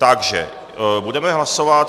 Takže budeme hlasovat.